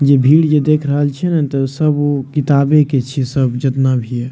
जे भीड़ जे देख रहल छीये ने तो सब उ किताबे के छीये सब जेतना भी ये।